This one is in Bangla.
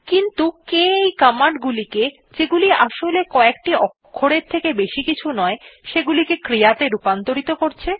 কিন্তু কে এই command গুলিকে যেগুলি আসলে কএকটি অক্ষরের থেকে বেশি কিছু নয় সেগুলিকে ক্রিয়াত়ে রূপান্তর করছে